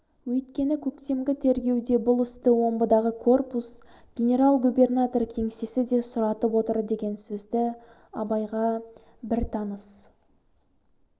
өйткені көктемгі тергеуде бұл істі омбыдағы корпус генерал-губернатор кеңсесі де сұратып отыр деген сөзді абайға бір таныс